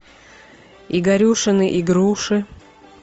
игорюшины игруши